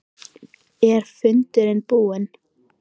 Er fundurinn búinn?